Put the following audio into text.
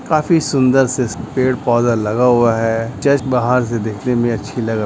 काफी सुन्दर से पेड़ पौधे लगा हुआ है चर्च बाहर से देखने में अच्छी लग--